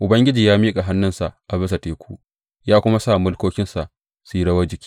Ubangiji ya miƙa hannunsa a bisa teku ya kuma sa mulkokinsa suka yi rawar jiki.